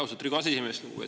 Austatud Riigikogu aseesimees!